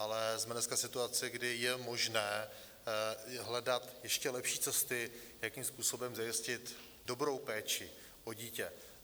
Ale jsme dneska v situaci, kdy je možné hledat ještě lepší cesty, jakým způsobem zajistit dobrou péči o dítě.